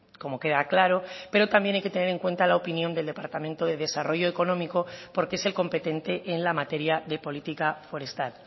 como queda claro pero también hay que tener en cuenta la opinión del departamento de desarrollo económico porque es el competente en la materia de política forestal